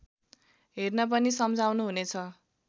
हेर्न पनि सम्झाउनुहुनेछ